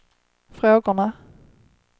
frågorna